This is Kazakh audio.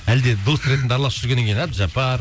әлде дос ретінде араласып жүргеннен кейін әбдіжаппар